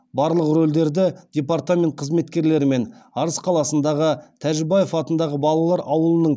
барлық рөлдерді департамент қызметкерлері мен арыс қаласындағы тәжібаев атындағы балалар ауылының